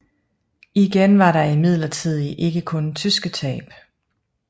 Igen var der imidlertid ikke kun tyske tab